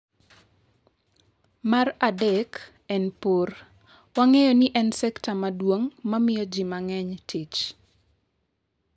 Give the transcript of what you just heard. Mar adek en pur, wang’eyo ni en sektor maduong’ ma miyo ji mang’eny tich.